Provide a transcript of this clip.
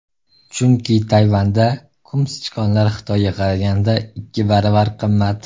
Chunki Tayvanda qumsichqonlar Xitoyga qaraganda ikki baravar qimmat.